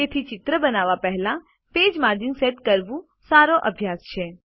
તેથી ચિત્ર બનાવવા પહેલા પેજ માર્જિન સેટ કરવું સારો અભ્યાસ છે